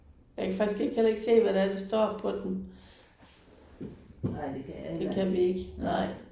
Jeg kan faktisk ikke heller ikke se hvad det er der står på dem. Det kan vi ikke nej